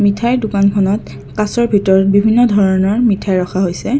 মিঠাই দোকানখনত কাঁচৰ ভিতৰত বিভিন্ন ধৰণৰ মিঠাই ৰখা হৈছে।